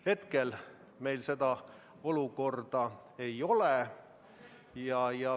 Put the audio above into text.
Praegu meil sellist olukorda ei ole.